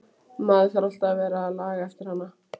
Maður þarf alltaf að vera að laga eftir hana.